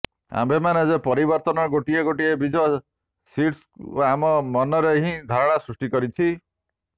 ଆମେମାନେ ଯେ ପରିବର୍ତ୍ତନର ଗୋଟିଏ ଗୋଟିଏ ବୀଜ ସିଡ୍ସ୍ ଆମ ମନରେ ଏହି ଧାରଣା ସୃଷ୍ଟି କରିଛି